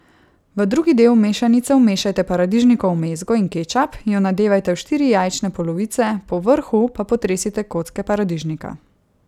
V drugi del mešanice vmešajte paradižnikovo mezgo in kečap, jo nadevajte v štiri jajčne polovice, po vrhu pa potresite kocke paradižnika.